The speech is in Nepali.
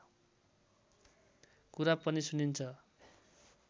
कुरा पनि सुनिन्छ